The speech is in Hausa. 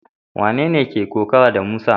Wanene ke kokawa da Musa?